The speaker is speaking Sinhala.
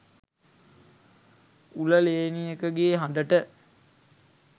උල ලේනියකගේ හඬට,